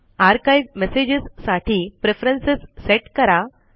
archive messages साठी preference set करा